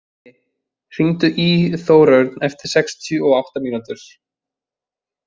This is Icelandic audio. Mundi, hringdu í Þórörn eftir sextíu og átta mínútur.